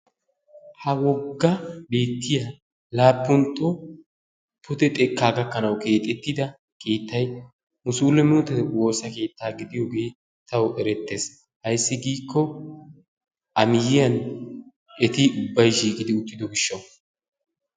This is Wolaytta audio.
Ha woga beetiya laapuntto pude xekkaa gakkanawu keexettida keetay musulumetu woossa keetta gidiyoge tawu eretees ayssi giiko eti ubay issippe shiiqidi utidooge tawu erettees,